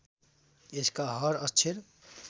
यसका हर अक्षर